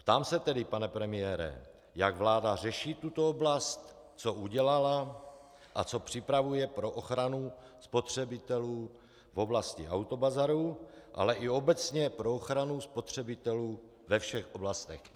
Ptám se tedy, pane premiére, jak vláda řeší tuto oblast, co udělala a co připravuje pro ochranu spotřebitelů v oblasti autobazarů, ale i obecně pro ochranu spotřebitelů ve všech oblastech.